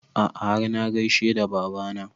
A'a har na gaishe da baba na